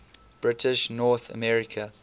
british north america